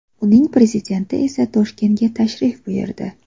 Uning prezidenti esa Toshkentga tashrif buyurdi.